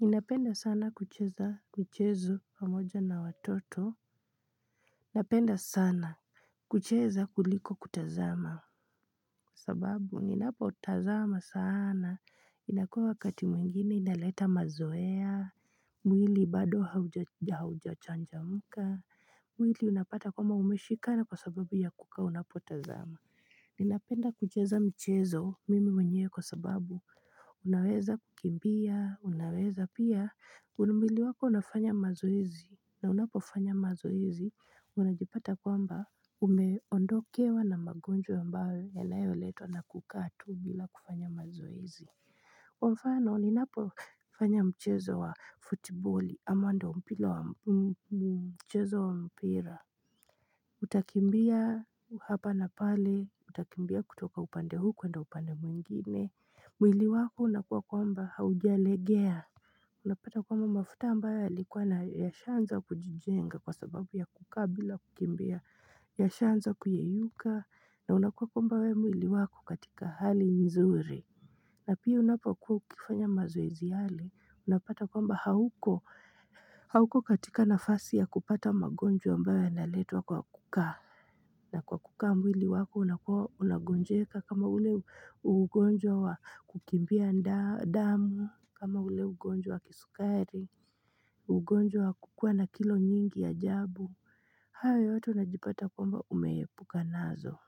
Ninapenda sana kucheza mchezo pamoja na watoto Napenda sana kucheza kuliko kutazama sababu ninapotazama sana. Inakuwa wakati mwingine inaleta mazoea. Mwili bado haujachangamka. Mwili unapata kwamba umeshikana kwa sababu ya kukaa unapotazama. Ninapenda kucheza mchezo mimi mwenyewe kwa sababu Unaweza kukimbia, unaweza pia. Mwili wako unafanya mazoezi na unapofanya mazoezi, unajipata kwamba umeondokewa na magonjwa ambao yanayoletwa na kukaa tu bila kufanya mazoezi Kwa mfano ninapofanya mchezo wa futiboli ama ndio mpira wa mchezo wa mpira Utakimbia hapa na pale. Utakimbia kutoka upande huu kuenda upande mwingine mwili wako unakuwa kwamba haujalegea Unapata kwamba mafuta ambayo yalikuwa na, yashanza kujijenga kwa sababu ya kukaa bila kukimbia, yashaanza kuyeyuka na unakuwa kwamba wewe mwili wako katika hali nzuri. Na pia unapokuwa ukifanya mazoezi yale, unapata kwamba hauko hauko katika nafasi ya kupata magonjwa ambayo yanaletwa kwa kukaa na kwa kukaa mwili wako unakuwa unagonjeka kama ule ugonjwa wa kukimbia damu, kama ule ugonjwa wa kisukari, ugonjwa wa kukuwa na kilo nyingi ya ajabu, hayo yote unajipata kwamba umeepuka nazo.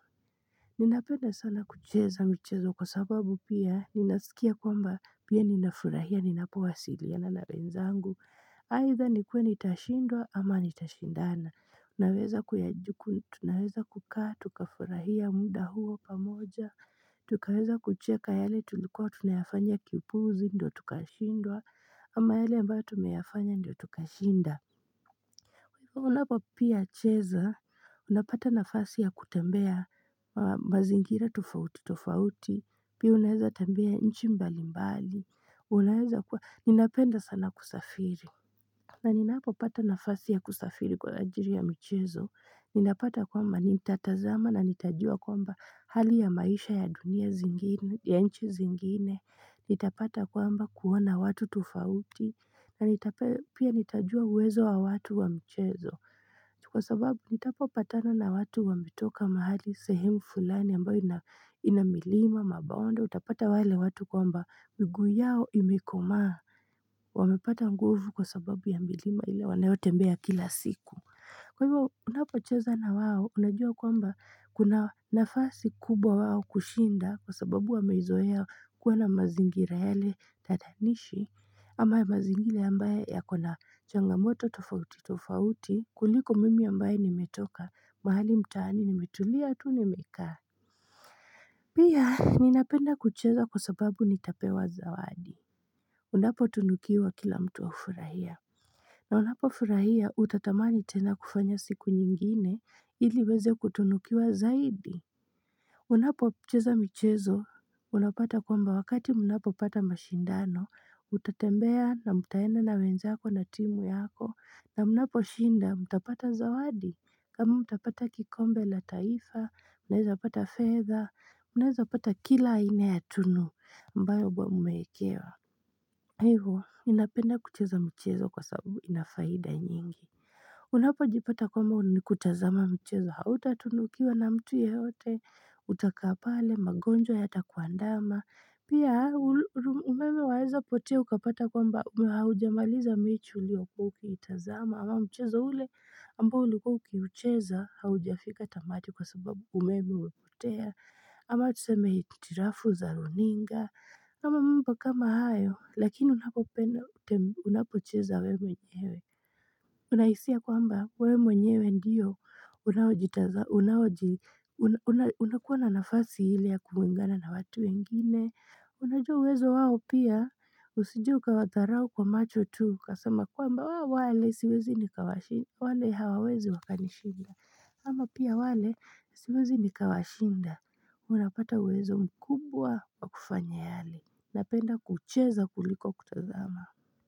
Ninapenda sana kucheza mchezo kwa sababu pia ninasikia kwamba pia ninafurahia ninapowasiliana na wenzangu. Aidha nikuwe nitashindwa ama nitashindana. Unaweza kuyajuku, tunaweza kukaa, tukafurahia muda huo pamoja Tukaweza kucheka yale tulikuwa tunayafanya kiupuzi ndio tukashindwa ama yale ambayo tumeyafanya ndio tukashinda Unapo pia cheza, unapata nafasi ya kutembea mazingira tofauti tofauti, pia unaweza tembea nchi mbali mbali, unaweza kuwa, ninapenda sana kusafiri. Na ninapo pata nafasi ya kusafiri kwa ajili ya michezo, ninapata kwamba nitatazama na nitajua kwamba hali ya maisha ya dunia zingine, ya nchi zingine, nitapata kwamba kuona watu tofauti, na nitapenda pia nitajua uwezo wa watu wa michezo Kwa sababu nitapopatana na watu wametoka mahali, sehemu fulani ambayo ina milima mabonde, utapata wale watu kwamba miguu yao imekomaa wamepata nguvu kwa sababu ya milima ile wanayotembea kila siku. Kwa hivyo unapocheza na wao, unajua kwamba kuna nafasi kubwa wao kushinda kwa sababu wameizoea kuwa na mazingira yale tatanishi ama mazingira ambaye yako na changamoto tofauti tofauti kuliko mimi ambaye nimetoka mahali mtaani nimetulia tu nimekaa. Pia ninapenda kucheza kwa sababu nitapewa zawadi. Unapo tunukiwa kila mtu hufurahia na unapofurahia utatamani tena kufanya siku nyingine ili uweze kutunukiwa zaidi Unapocheza michezo unapata kwamba wakati mnapopata mashindano, utatembea na mtaenda na wenzako na timu yako. Na mnapo shinda mtapata zawadi kama mtapata kikombe la taifa. Mnaweza pata fedha, mnaweza pata kila aina ya tunu ambayo mmewekewa Hivyo ninapenda kucheza mchezo kwa sababu ina faida nyingi Unapojipata kwamba ni kutazama mchezo hautatunukiwa na mtu yeyote, utakaa pale magonjwa yatakuandama. Pia umeme waeza potea ukapata kwamba haujamaliza mechi uliokuwa ukiitazama ama mchezo ule ambao ulikuwa ukiucheza haujafika tamati kwa sababu umeme ulipotea ama tuseme hitilafu za runinga kama mimi kama hayo, lakini unapocheza wewe mwenyewe. Unahisia kwamba, wewe mwenyewe ndiyo, unakuwa na nafasi ile ya kuungana na watu wengine. Unajua uwezo wao pia, usije ukawadharau kwa macho tu, ukasama kwamba wale siwezi nikawashinda. Wale hawawezi wakanishinda. Ama pia wale siwezi nikawashinda. Unapata uwezo mkubwa wa kufanya yale. Napenda kucheza kuliko kutazama.